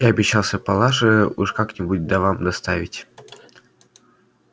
я обещался палаше уж как-нибудь да вам доставить